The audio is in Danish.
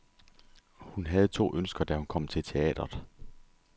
Hun havde to ønsker, da hun kom til teatret.